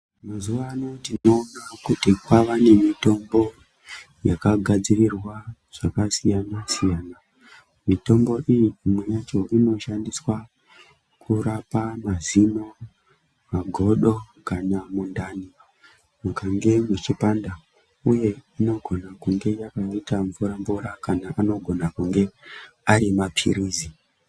Mazuvano tinoona kuti kwava nemitombo yakagadzirirwaa zvakasiyana-siyana. Mitombo iyi imwe yacho inoshandiswaa kurapaa mazinoo, magodo, kana mundani mukange muchipanda, uye inogona kunge yakaita mvura mvura kana anogona kunge ari mapirizi.